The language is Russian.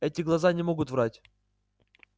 эти глаза не могут врать